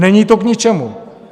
Není to k ničemu.